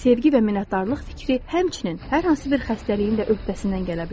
Sevgi və minnətdarlıq fikri həmçinin hər hansı bir xəstəliyin də öhdəsindən gələ bilər.